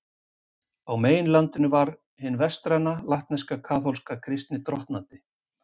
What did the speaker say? Á meginlandinu var hin vestræna, latneska, kaþólska kristni drottnandi.